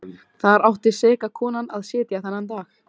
Þar átti seka konan að sitja þennan dag.